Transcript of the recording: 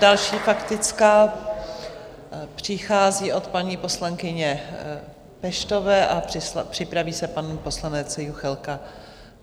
Další faktická přichází od paní poslankyně Peštové a připraví se pan poslanec Juchelka.